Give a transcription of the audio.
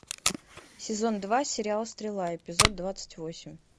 сезон два сериал стрела эпизод двадцать восемь